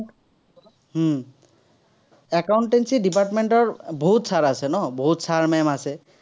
উম accountancy department ৰ বহুত sir আছে ন, বহুত sir, ma'am আছে।